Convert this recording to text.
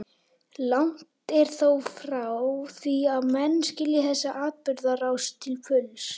Langt er þó frá því að menn skilji þessa atburðarás til fulls.